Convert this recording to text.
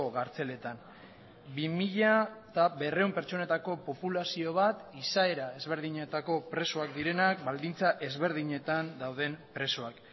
kartzeletan bi mila berrehun pertsonetako populazio bat izaera ezberdinetako presoak direnak baldintza ezberdinetan dauden presoak